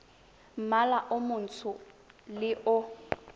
mmala o montsho le o